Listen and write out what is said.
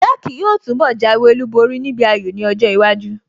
Jake yóò túnbọ̀ jáwé olúborí níbi ayò ní ọjọ́ iwájú